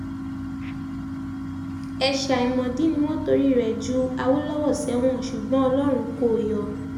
ẹ̀ṣẹ̀ àìmọ̀dí ni wọ́n torí rẹ̀ ju awolọ́wọ́ sẹ́wọ̀n ṣùgbọ́n ọlọ́run kó o yọ